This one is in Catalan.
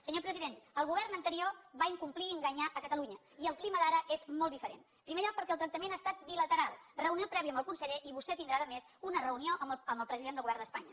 senyor president el govern anterior va incomplir i enga nyar catalunya i el clima d’ara és molt diferent en primer lloc perquè el tractament ha estat bila teral reunió prèvia amb el conseller i vostè tindrà a més una reunió amb el president del govern d’espanya